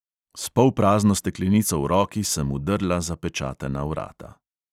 S polprazno steklenico v roki sem vdrla zapečatena vrata.